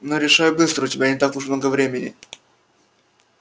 но решай быстро у тебя не так уж много времени